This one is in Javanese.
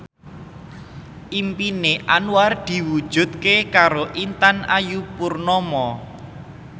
impine Anwar diwujudke karo Intan Ayu Purnama